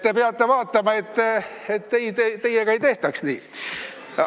Te peate vaatama, et teiega ei tehtaks nii.